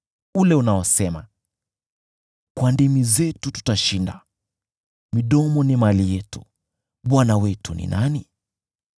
ule unaosema, “Kwa ndimi zetu tutashinda; midomo ni mali yetu, bwana wetu ni nani?”